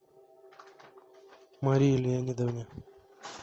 марии леонидовне